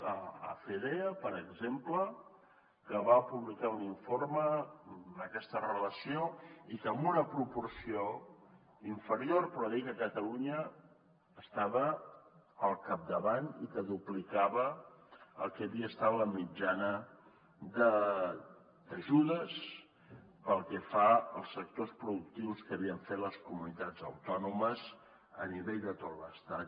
de fedea per exemple que va publicar un informe amb aquesta relació i que amb una proporció inferior però diu que catalunya estava al capdavant i que duplicava el que havia estat la mitjana d’ajudes pel que fa als sectors productius que havien fet les comunitats autònomes a nivell de tot l’estat